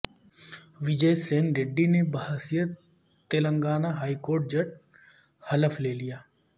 وجئے سین ریڈی نے بحیثیت تلنگانہ ہائیکورٹ جج حلف لے لیا